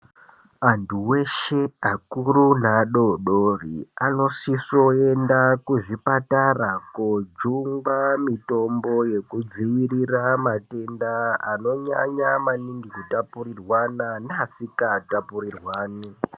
Antu weshe, akuru neadodori anosiso kuenda kuzvipatara kojungwa mitombo yekudziirira matenda anonyanya maningi kutapurirwana naasikatapurirwani.